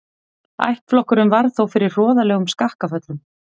Ættflokkurinn varð þó fyrir hroðalegum skakkaföllum.